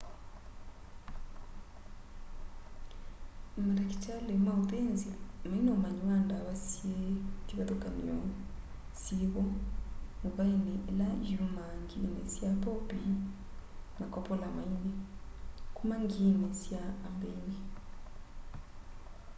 matakitali ma uthinzi maina umanyi wa ndawa syi kivathukany'o syivo movaini ila yumaa ngiini sya popi na kopolamaini kuma ngiini sya ambeini